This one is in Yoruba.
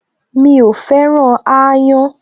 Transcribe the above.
Mi ò féràn aáyán